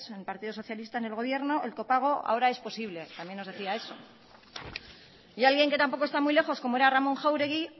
en el partido socialista en el gobierno el copago ahora es posible también nos decía eso y alguien que tampoco está muy lejos como es ramón jáuregui